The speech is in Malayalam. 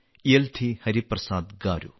യെൽധി ഹരിപ്രസാദ് ഗാരു